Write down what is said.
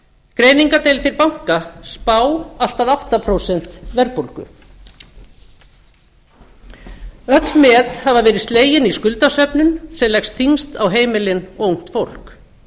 greiningardeildir banka spá allt að átta prósent verðbólgu öll met hafa verið slegin í skuldasöfnun sem leggst þyngst á heimilin og ungt fólk